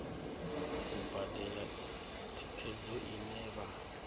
u badela thikhedzo ine vha